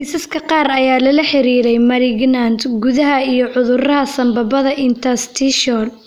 Kiisaska qaar ayaa lala xiriiriyay malignant gudaha iyo cudurada sambabada interstitial.